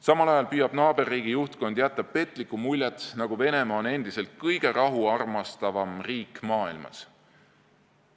Samal ajal püüab naaberriigi juhtkond jätta petlikku muljet, nagu oleks Venemaa endiselt kõige rahuarmastavam riik maailmas.